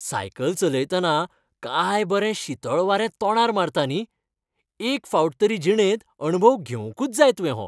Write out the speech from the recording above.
Cycle चलयतना काय बरें शीतळ वारें तोंडार मारता न्ही, एक फावट तरी जिणेंत अणभव घेवंकूच जाय तुवें हो.